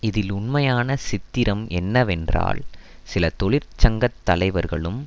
இதில் உண்மையான சித்திரம் என்னவென்றால் சில தொழிற்சங்கத்தலைவர்களும்